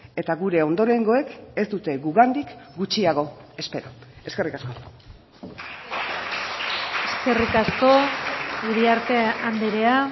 eta gure ondorengoek ez dute gugandik gutxiago espero eskerrik asko eskerrik asko iriarte andrea